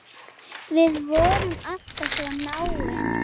Við vorum alltaf svo náin.